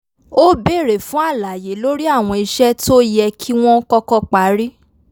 ó béèrè fún àlàyé lórí àwọn iṣẹ́ tó yẹ kí wọ́n kọ́kọ́ parí